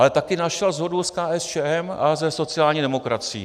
Ale taky našel shodu s KSČM a se sociální demokracií.